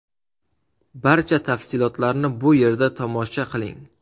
Barcha tafsilotlarni bu yerda tomosha q iling :.